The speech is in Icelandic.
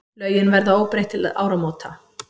Lögin verða óbreytt til áramóta.